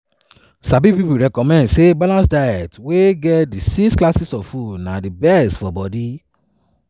sabi pipo recommend say balanced diets wey get di six classes of foods na di best for di bodi.